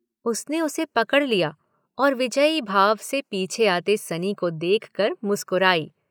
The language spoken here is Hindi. उसने उसे पकड़ लिया और विजयी भाव से पीछे आते सनी को देखकर मुस्कुराई।